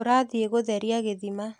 Tũrathie gũtheria gĩthima.